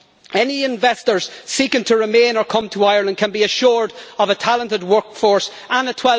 Any investors seeking to remain in, or come to, Ireland can be assured of a talented workforce and a